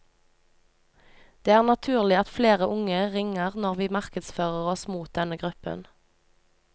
Det er naturlig at flere unge ringer når vi markedsfører oss mot denne gruppen.